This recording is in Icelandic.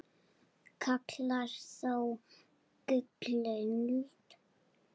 kalla þó gullöld